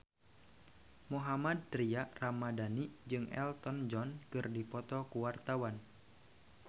Mohammad Tria Ramadhani jeung Elton John keur dipoto ku wartawan